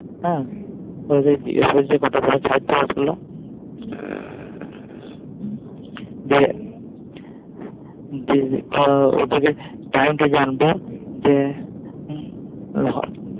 যে ওদেরকে Time জানবো যে,